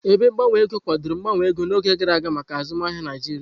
Ebe gbanwe ego kwadoro mgbanwe ego n'oge gara aga maka azụmaahịa Naijiria.